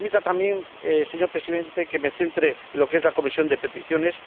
Pero permita también, señor Presidente, que me centre en lo que es la Comisión de Peticiones.